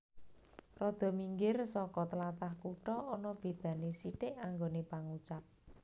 Rada minggir soko tlatah kutha ana beda ne sithik anggone pangucap